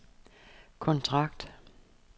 kontrakt